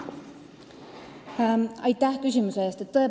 Aitäh küsimuse eest!